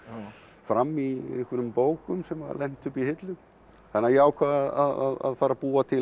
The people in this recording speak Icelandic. fram í einhverjum bókum sem lentu uppi í hillu þannig að ég ákvað að fara að búa til